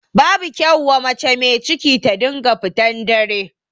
Babu kyau wa mace mai ciki ta dinga fitan dare.